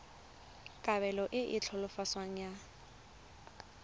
kabelo e e tlhaloswang ya